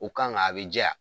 O kan kan a bi jɛ a ?